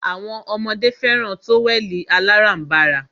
Awọn ọmọdé fẹràn tówẹ̀lì aláránbara.